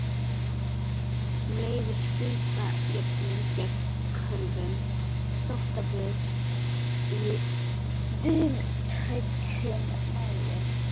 sem leyfir skuldajöfnuð gegn kröfum þrotabús í víðtækum mæli.